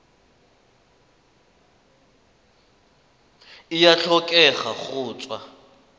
e a tlhokega go tswa